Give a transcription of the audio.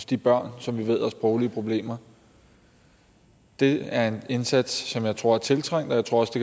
de børn som vi ved har sproglige problemer det er en indsats som jeg tror er tiltrængt og jeg tror også